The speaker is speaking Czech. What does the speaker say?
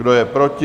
Kdo je proti?